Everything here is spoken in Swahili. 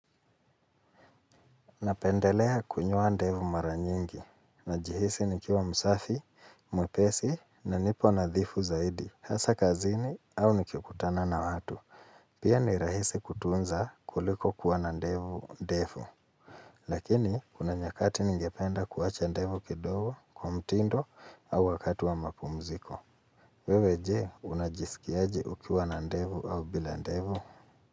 Napendelea kunyoa ndevu mara nyingi. Najihisi nikiwa msafi, mwepesi na nipo nadhifu zaidi. Hasa kazini au nikikutana na watu. Pia ni rahisi kutunza kuliko kuwa na ndevu ndefu. Lakini, kuna nyakati ningependa kuwacha ndevu kidogo kwa mtindo au wakati wa mapumziko. Wewe je, unajisikiaje ukiwa na ndevu au bila ndevu?